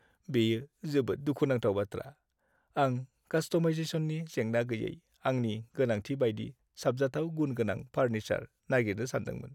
बेयो जोबोद दुखु नांथाव बाथ्रा, आं कास्टमाइजेशननि जेंना गैयै आंनि गोनांथि बायदि साबजाथाव गुनगोनां फार्निसार नागिरनो सान्दोंमोन।